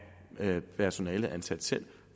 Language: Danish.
personale ansat selv